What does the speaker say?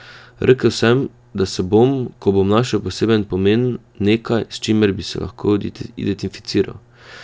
Rekel sem, da se bom, ko bom našel poseben pomen, nekaj, s čimer bi se lahko identificiral.